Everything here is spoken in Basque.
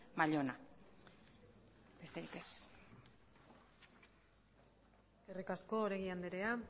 mallona besterik ez eskerrik asko oregi andrea